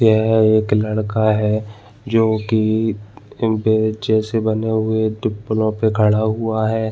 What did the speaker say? यह एक लड़का है जो कि इन पेचे से बने हुए टिप्पनों से खड़ा हुआ है।